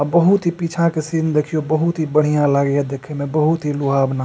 बहुत ही पीछा के सीन देख्यो बहुत ही बढ़िया लागइय देखे मे बहुत ही लुभावना।